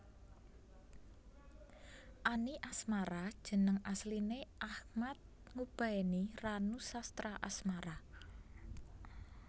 Any Asmara jeneng asline Achmad Ngubaeni Ranusastraasmara